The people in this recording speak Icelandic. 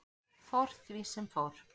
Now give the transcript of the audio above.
Fór því sem fór.